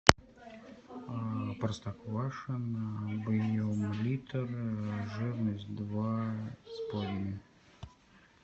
простоквашино объем литр жирность два с половиной